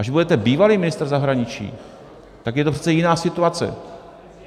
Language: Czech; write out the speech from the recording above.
Až budete bývalý ministr zahraničí, tak je to přece jiná situace.